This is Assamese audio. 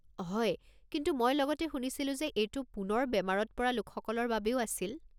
হয়, কিন্তু মই লগতে শুনিছিলোঁ যে এইটো পুনৰ বেমাৰত পৰা লোকসকলৰ বাবেও আছিল।